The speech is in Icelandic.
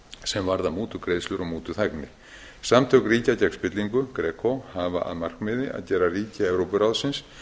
sem varðar mútugreiðslur og mútuþægni samtök ríkja gegn spillingu greco hafa að markmiði að gera ríki evrópuráðsins